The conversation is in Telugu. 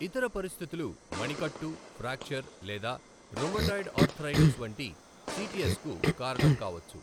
ఇతర పరిస్థితులు మణికట్టు ఫ్రాక్చర్ లేదా రుమటాయిడ్ ఆర్థరైటిస్ వంటి సిటిఎస్కు కారణం కావచ్చు.